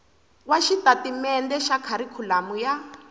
wa xitatimende xa kharikhulamu ya